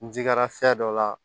N jigira fiyɛ dɔ la